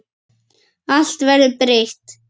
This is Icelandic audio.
Allt verður breytt.